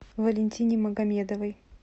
валентине магомедовой